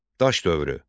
Daş dövrü.